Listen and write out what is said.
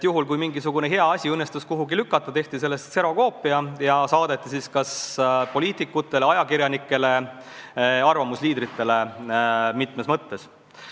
Juhul, kui mingisugune hea kirjutis õnnestus kuhugi sisse pressida, tehti sellest kserokoopia ja saadeti poliitikutele, ajakirjanikele, arvamusliidritele mitmes mõttes.